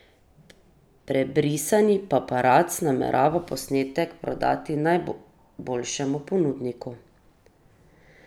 Prebrisani paparac namerava posnetek prodati najboljšemu ponudniku.